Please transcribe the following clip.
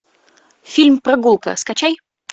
фильм прогулка скачай